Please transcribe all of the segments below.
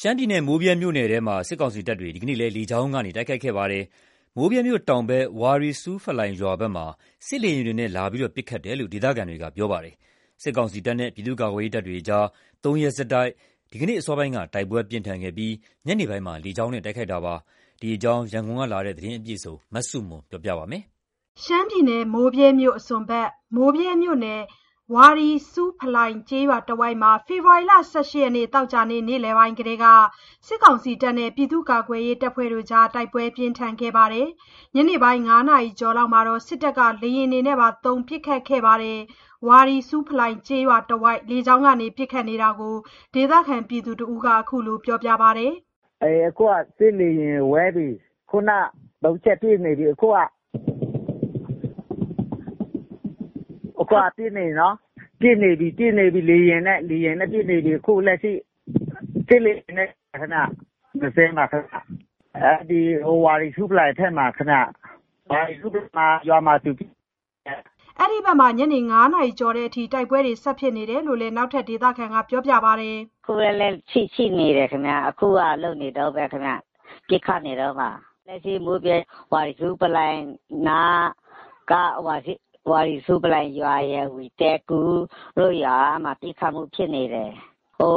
ရှမ်းပြည်နယ် မိုးဗြဲမြို့နယ်ထဲမှာ စစ်ကောင်စီတပ်တွေ ဒီနေ့လည်း လေကြောင်းကနေ တိုက်ခိုက်ခဲ့ပါတယ်။ မိုးဗြဲမြို့တောင်ဘက် ဝါရီဆူးဖလိုင်ရွာဘက်ကို စစ်လေယာဉ်တွေနဲ့ လာရောက်ပစ်ခတ်တယ်လို့ ဒေသခံတွေကပြောပါတယ်။ စစ်ကောင်စီတပ်နဲ့ ပြည်သူ့ကာကွယ်ရေးတပ်တွေနဲ့ ၃ ရက်ဆက်တိုက် ဒီနေ့ အစောပိုင်းက တိုက်ပွဲပြင်းထန်ခဲ့ပြီး ညနေပိုင်းက လေကြောင်းနဲ့ တိုက်ခိုက်နေတာဖြစ်ပါတယ်။ အပြည့်အစုံရန်ကုန်ကလာတဲ့သတင်းကို မဆုမွန်က တင်ပြပေးထားပါတယ်။ ရှမ်းပြည်နယ် မိုးဗြဲမြို့အစွန်ဘက်နဲ့ မိုးဗြဲမြို့နယ် ဝါရီဆူးဖလိုင်ကျေးရွာတဝိုက်မှာ ဖေဖော်ဝါရီ ၁၈ ရက်သောကြာနေ့ နေ့လယ်ပိုင်းကတည်းက စစ်ကောင်စီနဲ့ ပြည်သူ့ကာကွယ်ရေးအဖွဲ့တွေ တိုက်ပွဲပြင်းထန်ခဲ့ပါတယ်။ ညနေပိုင်း ၅ နာရီကျော်လောက်မှာတော့ စစ်တပ်က လေယာဉ်တွေပါသုံး ပစ်ခတ်ခဲ့ပါတယ်။ ဝါရီဆူးဖလိုင်ရွာနားတဝိုက် လေကြောင်းကနေ ပစ်ခတ်နေပုံကို ဒေသခံက ခုလိုပြောပြပါတယ်။ “အခု စစ်လေယာဉ် ဝဲပြီး ခုနက ၃ ချက်ပစ်နေပြီ။ အခုက…. ပစ်နေပြီနော်။ ပစ်နေပြီ...ပစ်နေပြီ...။ လေယာဉ်နဲ့ပစ်နေပြီ။ အခုလက်ရှိ စစ်လေယာဉ်နဲ့ပစ်နေပါတယ်ခင်ဗျ။ ၂ စင်းပါခင်ဗျ။ အဲ့ဒီဝါရီဆူးဖလိုင်းဘက်မှာ ခင်ဗျ၊ ဝါရီဆူးဖလိုင်ရွာမှာပစ်နေတယ်။” အဲဒီဘက်မှာ ညနေ ၅ နာရီကျော်တဲ့အထိ တိုက်ပွဲတွေဖြစ်နေတာကိုလည်း နောက်ထပ်ဒေသခံက ခုလို ပြောပြပါတယ်။ “အခုလည်း ရှိနေတယ်ခင်ဗျ။ အခုကလုပ်နေတုန်းပဲ ခင်ဗျ။ ပစ်ခတ်နေတုန်းပါ။ လက်ရှိ မိုးဗြဲ ဝါရီဆူးဖလိုင်းနားက ဝါရီဆူးဖလိုင်ရွာရယ်၊ ဝီသဲကူတို့ရွာ၊ အဲ့မှာ ပစ်ခတ်မှုဖြစ်နေတယ်။ ဟို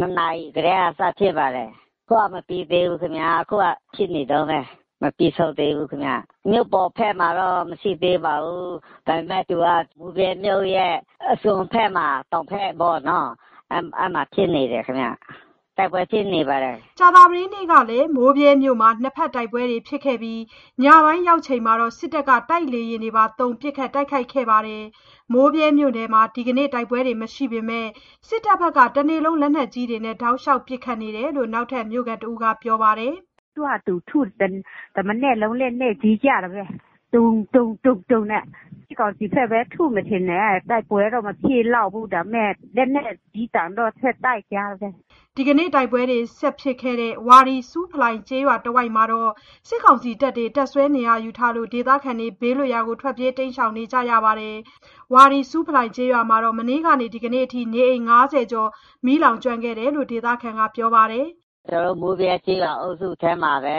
၂ နာရီကတည်းက စဖြစ်ပါတယ်။ အခုက မပြီးသေးဘူးခင်ဗျ။ အခုက ဖြစ်နေတုန်းပဲ။ မပြီးဆုံးသေးဘူးခင်ဗျ။ မြို့ပေါ်ဘက်မှာတော့ မရှိသေးပါဘူး။ ဒါပေမယ့် သူက မိုးဗြဲမြို့ရဲ့ အစွန်ဘက်မှာ တောင်ဘက်ပေါ့နော်။ အဲ့မှာဖြစ်နေတယ်ခင်ဗျ။ တိုက်ပွဲဖြစ်နေပါတယ်။” ကြာသပတေးနေ့ကလည်း မိုးမြဲမြို့မှာ ၂ ဘက်တိုက်ပွဲတွေဖြစ်ခဲ့ပြီး ညပိုင်းရောက်ချိန်မှာတော့ စစ်တပ်က တိုက်လေယာဉ်တွေသုံး ပစ်ခတ် တိုက်ခိုက်ခဲ့ပါတယ်။ မိုးဗြဲမြို့ထဲမှာ ဒီနေ့ တိုက်ပွဲတွေမရှိပေမယ့် စစ်တပ်ဘက်က တနေ့လုံး လက်နက်ကြီးတွေနဲ့ တောက်လျှောက် ပစ်ခတ်နေတယ်လို့ နောက်ထပ် မြို့ခံတဦးက ပြောပါတယ်။ “သူ့ဟာသူ ထု။ တမနက်လုံး လက်နက်ကြီးကျတာပဲ၊ ဒုန်း…ဒုန်း…ဒုန်းနဲ့ စစ်ကောင်စီဘက်ပဲ ထုမယ်ထင်တယ်။ တိုက်ပွဲတော့ မဖြစ်လောက်ဘူး။ ဒါပေမယ့် လက်နက်ကြီးသံတော့ ဆက်တိုက်ကြားတယ်။” ဒီနေ့ တိုက်ပွဲတွေ ဆက်ဖြစ်နေတဲ့ ဝါရီဆူးဖလိုင်ရွာနားတဝိုက်မှာတောည စစ်ကောင်စီတပ်တွေ တပ်စွဲနေရာယူထားလို့ ဒေသခံတွေ ဘေးလွတ်ရာကို ထွက်ပြေးတိမ်ရှောင်နေကြရပါတယ်။ ဝါရီဆူးဖလိုင်ကျေးရွာမှာတော့ မနေ့ကနေ ဒီနေ့အထိ နေအိမ် ၅၀ ကျော် လောင်ကျွမ်းခဲ့တယ်လို့ ဒေသခံက ပြောပါတယ်။ “ကျနော်တို့ မိုဗြဲက ကျေးရွာအုပ်စုထဲမှာပဲ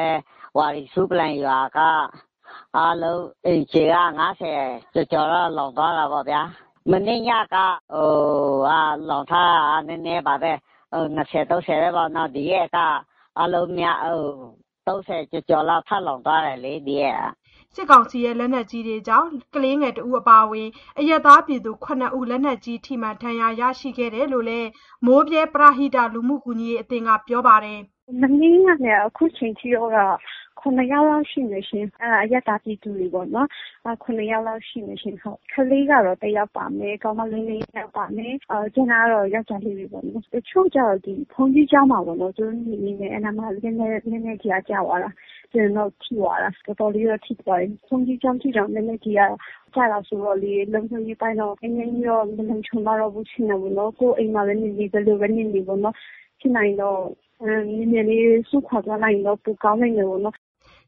ဝါရီဆူးဖလိုင်ရွာက အားလုံး အိမ်ခြေက ၅၀ ကျော်ကျော်တော့ လောင်သွားတာပေ့ါဗျာ။ မနေ့က လောင်ထားတာက နည်းနည်းပါပဲ။ ၂၀၊ ၃၀ ပဲပေါ့နော်။ အားလုံး ၃၀ ကျော်ကျော်လောက် ထပ်လောင်သွားလေ ဒီရက်က။” စစ်ကောင်စီရဲ့ လက်နက်ကြီးတွေကြောင့် ကလေးသူငယ်တဦးအပါအဝင် အရပ်သားပြည်သူ ၇ ဦး လက်နက်ကြီးထိမှန် ဒဏ်ရာရရှိခဲ့သူတွေရှိတယ်လို့ မိုးဗြဲပရဟိတလူမှုကူညီရေးအသင်းက ပြောပါတယ်။ “မနေ့ကနေ အခုချိန်ထိတော့ ၇ ယောက်လောက်ရှိမယ်ရှင်။ အဲ့ဒါ အရပ်သားပြည်သူတွေပေါ့နော်။ ၇ ယောက်လောက်ရှိမယ်ရှင် ဟုတ်။ ကလေးကတော့ တယောက်ပါမယ်။ ကောင်မလေး ၄ ယောက်ပါမယ်။ ကျန်တာတော့ ယောက်ကျားလေးပဲပေါ့။ တချို့ကျတော့ ဘုန်းကြီးကျောင်းမှာပေါ့နော်။ သူတို့နေနေတယ်။ နောက်မှ လက်နက်ကြီးက ကျသွားတာ။ တော်တော်လေးတော့ ထိသွားတယ်။ ဘုန်းကြီးကျောင်းထိတောင် လက်နက်ကြီးက ကျတာဆိုတော့လေ။ လုံခြုံရေးအပိုင်းတော့ နည်းနည်းကြီးတော့ မလုံခြုံတော့ဘူးထင်တာပေါ့နော်။ ကိုယ့်အိမ်မှာပဲနေနေ ဘယ်လိုပဲ နေနေပေါ့နော်။ ဖြစ်နိုင်ရင်တော့ မြန်မြန်လေး စွန့်ခွာသွားနိုင်ရင်တော့ ပိုကောင်းလိမ်မယ်ပေါ့နော်။”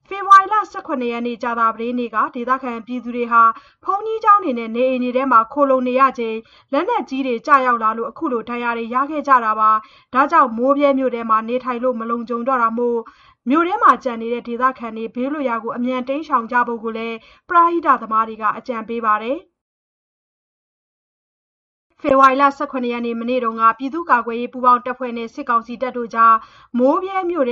ဖေဖော်ဝါရီ ၁၇ ရက်ကြာသပတေးနေ့က ဒေသခံတွေဟာ ဘုန်းကြီးကျောင်းနဲ့ နေအိမ်တွေထဲ ခိုလှုံနေချိန်မှာ လက်နက်ကြီးတွေ ရောက်ကျလာလို့ အခုလို ဒဏ်ရာတွေ ရကြရတာပါ။ ဒါကြောင့် မိုးဗြဲမြို့မှာ နေထိုင်လို့ မလုံခြုံတော့တာမို့ မြို့ထဲမှာ ကျန်နေတဲ့ ဒေသခံတွေ ဘေးလွတ်ရာကို အမြန်တိမ်းရှောင်ကြဖို့ ပရဟိသမားတွေက အကြံပေးနေကြပါတယ။် ဖေဖော်ဝါရ ၁၇ ရက် မနေ့က ပြည်သူ့ကာကွယ်ရေးပူပေါင်းတပ်ဖွဲ့နဲ့ စစ်ကောင်စီတပ်တွေအကြား မိုးဗြဲမြို့ထ